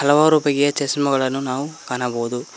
ಹಲವಾರು ಬಗೆಯ ಚಸ್ಮಾಗಳನು ನಾವು ಕಾಣಬಹುದು.